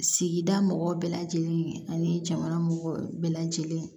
Sigida mɔgɔw bɛɛ lajɛlen ani jamana mɔgɔ bɛɛ lajɛlen